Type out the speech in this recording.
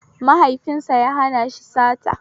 Mahaifinsa ya hana shi sata